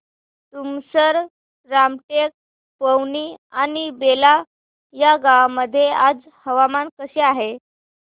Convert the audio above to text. तुमसर रामटेक पवनी आणि बेला या गावांमध्ये आज हवामान कसे आहे